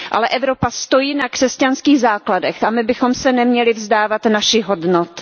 Ale Evropa stojí na křesťanských základech a my bychom se neměli vzdávat našich hodnot.